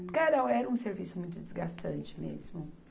Porque era, era um serviço muito desgastante mesmo.